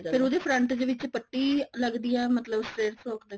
ਫਿਰ ਉਹਦੀ ਜਿਹੜੀ front ਦੇ ਵਿੱਚ ਪੱਟੀ ਲਗੱਦੀ ਐ ਮਤਲਬ straight frock ਤੇ